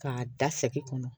K'a da sɛki kɔnɔ